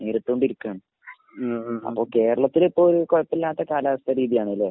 നേരിട്ടുകൊണ്ടിരിക്കുകയാണ്. അപ്പോൾ കേരളത്തിൽ ഇപ്പോൾ കുഴപ്പമില്ലാത്ത കാലാവസ്ഥാരീതിയാണല്ലേ.